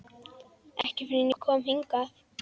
Ekki fyrr en ég kom hingað.